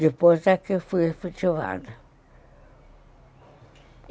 Depois daqui eu fui efetivada.